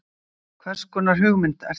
Hverskonar hugmynd ert þú?